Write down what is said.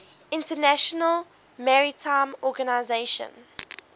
international maritime organization